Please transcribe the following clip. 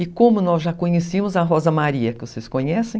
E como nós já conhecíamos a Rosa Maria, que vocês conhecem,